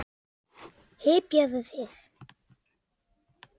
Hypjaðu þig!